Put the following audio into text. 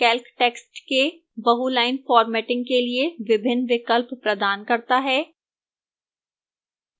calc text के बहुlines formatting के लिए विभिन्न विकल्प प्रदान करता है